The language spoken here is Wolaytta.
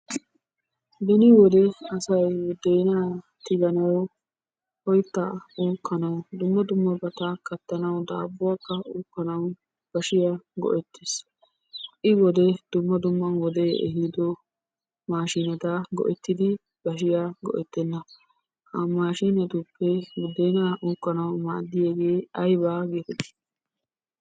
Beni wode asay budena tiganaw, oytta uukkanaw dumma dummabata kattanaw, daabuwakka uukkanaw bashiya go'ettees. ha'i wode dumma dumma wode ehido maashineta go''ettidi bashiyaa go'ettena. ha mashinetuppe budena uukanaw maadiyaage aybba getetti?